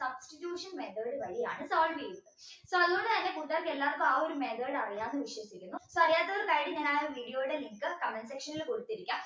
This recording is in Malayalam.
substitution method വഴിയാണ് solve ചെയ്യുന്നത് so അതുകൊണ്ട് തന്നെ കൂട്ടുകാർക്ക് ആ ഒരു method അറിയാം എന്ന് വിശ്വസിക്കുന്നു so അറിയാത്തവർക്കായി ആ ഒരു video യുടെ link comment section ൽ കൊടുത്തിരിക്കാം